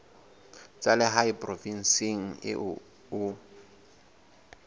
tsa lehae provinseng eo o